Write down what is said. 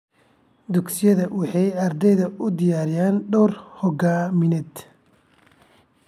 Dugsiyada waxay ardayda u diyaariyaan door hoggaamineed.